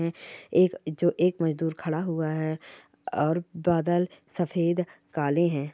--एक जो एक मजदूर खड़ा हुआ है और बादल सफेद काले है ।